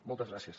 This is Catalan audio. moltes gràcies